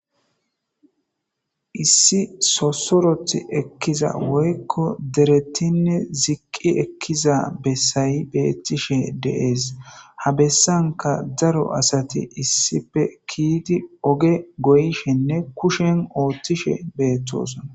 issi sosoroth ekkiza woykko derettinne ziqqi ekkiza bessayi beettishe de'ees ha bessanka daro asati issipe kiiti oge goyishenne kushen ooththishe beettosona